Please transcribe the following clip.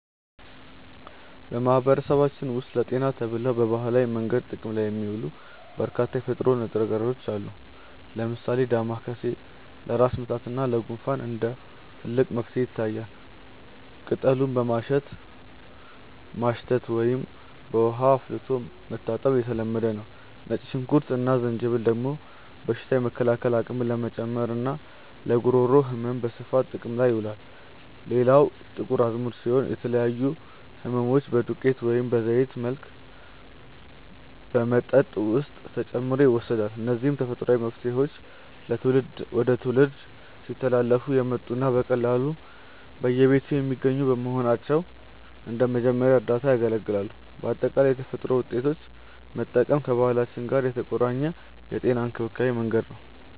በማህበረሰባችን ውስጥ ለጤና ተብለው በባህላዊ መንገድ ጥቅም ላይ የሚውሉ በርካታ የተፈጥሮ ንጥረ ነገሮች አሉ። ለምሳሌ ዳማከሴ ለራስ ምታት እና ለጉንፋን እንደ ትልቅ መፍትሄ ይታያል፤ ቅጠሉን በማሸት ማሽተት ወይም በውሃ አፍልቶ መታጠን የተለመደ ነው። ነጭ ሽንኩርት እና ዝንጅብል ደግሞ በሽታ የመከላከል አቅምን ለመጨመርና ለጉሮሮ ህመም በስፋት ጥቅም ላይ ይውላሉ። ሌላው ጥቁር አዝሙድ ሲሆን፣ ለተለያዩ ህመሞች በዱቄት ወይም በዘይት መልክ በመጠጥ ውስጥ ተጨምሮ ይወሰዳል። እነዚህ ተፈጥሯዊ መፍትሄዎች ከትውልድ ወደ ትውልድ ሲተላለፉ የመጡና በቀላሉ በየቤቱ የሚገኙ በመሆናቸው እንደ መጀመሪያ እርዳታ ያገለግላሉ። በአጠቃላይ የተፈጥሮ ውጤቶችን መጠቀም ከባህላችን ጋር የተቆራኘ የጤና እንክብካቤ መንገድ ነው።